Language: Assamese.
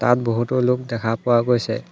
ইয়াত বহুতো লোক দেখা পোৱা গৈছে।